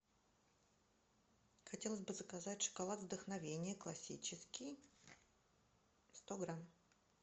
хотелось бы заказать шоколад вдохновение классический сто грамм